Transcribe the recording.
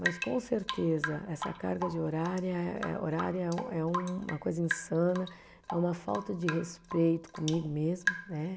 Mas com certeza, essa carga de horária é, horária é um é um, é uma coisa insana, é uma falta de respeito comigo mesma, né?